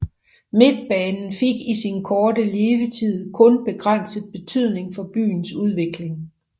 Midtbanen fik i sin korte levetid kun begrænset betydning for byens udvikling